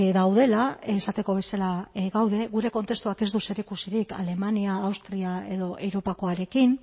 daudela esateko bezala gaude gure kontestuak ez du zerikusirik alemania austria edo europakoarekin